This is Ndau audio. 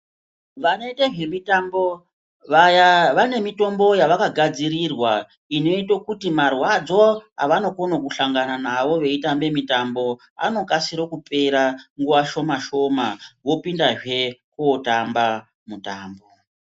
Vanoita zvemitambo vaya vane mitombo yavakagadzirirwa, inoita kuti marwadzo avanokona kuhlangana nawo veitambe mitambo anokasire kupera nguwa shoma-shoma, vopindazve kootamba mutambo.